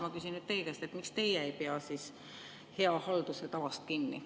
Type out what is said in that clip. Ma küsin nüüd teie käest, miks teie ei pea hea halduse tavast kinni.